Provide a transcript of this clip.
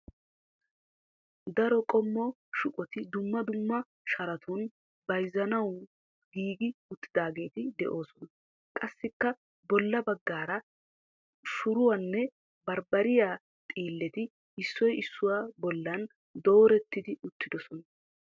Daro qommo shuqoti dumma dumma sharatun bayzuwawu giigi uttidaageeti de'oosona. Qassikka bolla baggaara shuruwanne bambbariyaa xiilleti issoy issuwaa bollan doorettidi uttis.